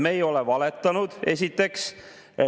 Me ei ole valetanud, esiteks.